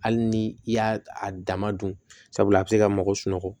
Hali ni i y'a a dama dun sabula a bɛ se ka mago sunɔgɔ